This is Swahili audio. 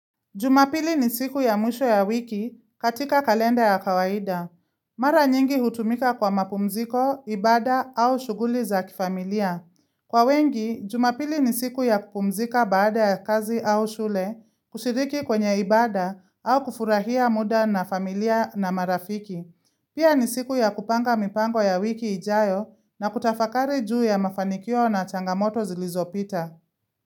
Jumapili ni siku ya mwisho ya wiki katika kalenda ya kawaida. Mara nyingi hutumika kwa mapumziko, ibada au shughuli za kifamilia. Kwa wengi, jumapili ni siku ya kupumzika baada ya kazi au shule, kushiriki kwenye ibada au kufurahia muda na familia na marafiki. Pia ni siku ya kupanga mipango ya wiki ijayo na kutafakari juu ya mafanikio na changamoto zilizopita.